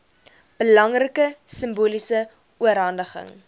belangrike simboliese oorhandiging